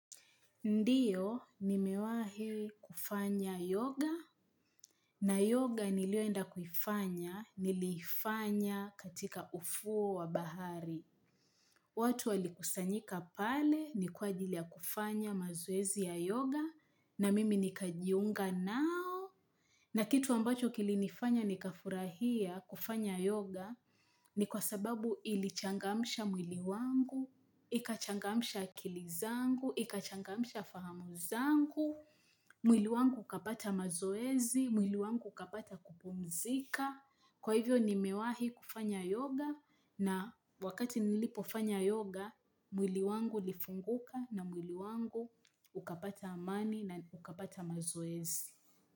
Ndiyo, nimewahi kufanya yoga, na yoga niliyoenda kuifanya, niliifanya katika ufuo wa bahari. Watu walikusanyika pale, ni kwa ajili ya kufanya mazoezi ya yoga, na mimi nikajiunga nao. Na kitu ambacho kilinifanya nikafurahia kufanya yoga, ni kwa sababu ilichangamsha mwili wangu, ikachangamsha akili zangu, ikachangamsha fahamu zangu. Mwili wangu ukapata mazoezi, mwili wangu ukapata kupumzika kwa hivyo ni mewahi kufanya yoga. Na wakati nilipofanya yoga mwili wangu lifunguka na mwili wangu ukapata amani na ukapata mazoezi.